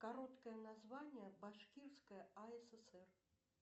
короткое название башкирская асср